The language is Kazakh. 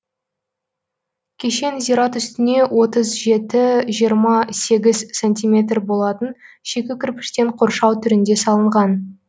кешен зират үстіне отыз жеті жиырма сегііз сантиметр болатын шикі кірпіштен қоршау түрінде салынған